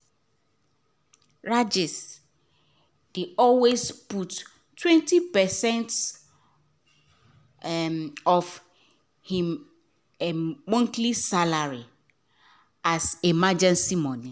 rajesh dey always put him 20 percent um of him um monthly salary um as emergency money